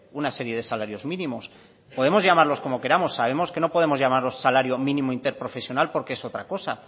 una serie de salarios mínimos podemos llamarlos como queramos sabemos que no podemos llamarlo salario mínimo interprofesional porque es otra coso